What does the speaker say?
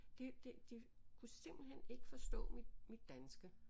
Det de kunne simpelthen ikke forstå mit danske